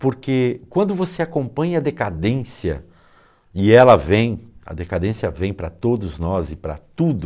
Porque quando você acompanha a decadência, e ela vem, a decadência vem para todos nós e para tudo,